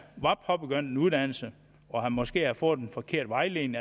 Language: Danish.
var påbegyndt en uddannelse og måske havde fået en forkert vejledning